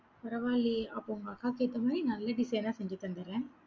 பரவாயில்லையே, அப்ப உங்க அக்காக்கு ஏத்த மாதிரி நல்ல design ஆ செஞ்சு தந்துடுறேன்.